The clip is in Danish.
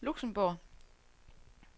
Luxembourg